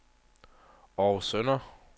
Århus Søndre